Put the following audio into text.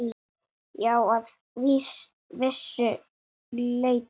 Já, að vissu leyti.